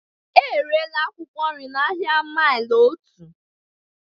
Erela akwụkwọ nri n'ahịa maili otu.